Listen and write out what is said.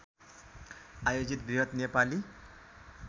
आयोजित बृहत नेपाली